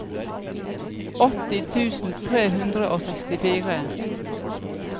åtti tusen tre hundre og sekstifire